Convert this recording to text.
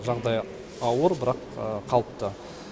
жағдайы ауыр бірақ қалыпты